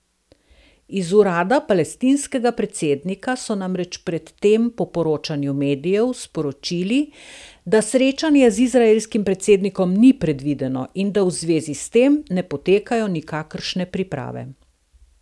Iz urada palestinskega predsednika so namreč pred tem po poročanju medijev sporočili, da srečanje z izraelskim predsednikom ni predvideno in da v zvezi s tem ne potekajo nikakršne priprave.